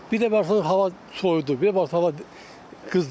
Bir də baxırsan hava soyudu, bir də baxırsan hava qızdı.